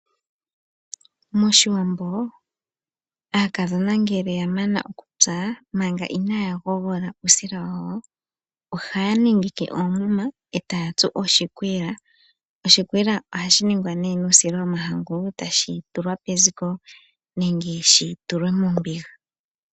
MOshiwambo aakadhona ngele ya mana okutsa, manga inaaya gogola uusila wawo, ohaya nengeke oomuma e taya tsu oshikwiila, oshikwiila ohashi ningwa nee nuusila womahangu, tashi tulwa peziko, nenge shi tulwe mombiga.